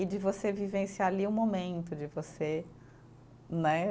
E de você vivenciar ali o momento de você, né?